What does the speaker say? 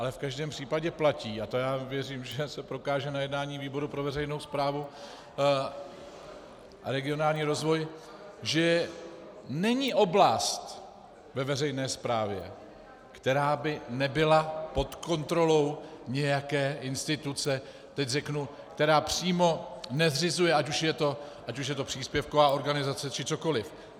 Ale v každém případě platí, a to já věřím, že se prokáže na jednání výboru pro veřejnou správu a regionální rozvoj, že není oblast ve veřejné správě, která by nebyla pod kontrolou nějaké instituce, teď řeknu, která přímo nezřizuje, ať už je to příspěvková organizace či cokoli.